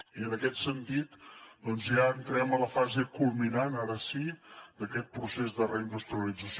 i en aquest sentit ja entrem a la fase culminant ara sí d’aquest procés de reindustrialització